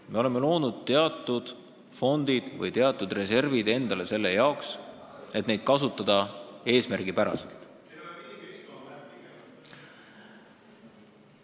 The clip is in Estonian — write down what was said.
Me oleme loonud teatud fondid või teatud reservid endale selle jaoks, et neid kasutada eesmärgipäraselt.